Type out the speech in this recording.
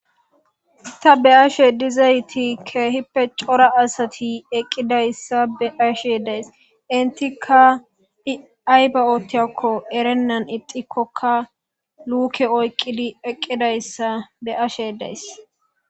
Ha'i ta be'ashe dizayti keehippe cora asati eqqidayssa be ashe days intika diayba7ootiakko erennan ixikkokka luuke oyqqidi eqqidayssa be'ashe days